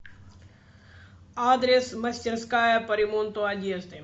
адрес мастерская по ремонту одежды